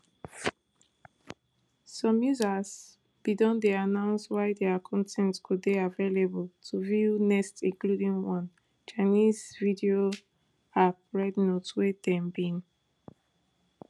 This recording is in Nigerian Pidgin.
some users bin don dey announce wia dia con ten t go dey available to view next including one chinese video app red note wey dem bin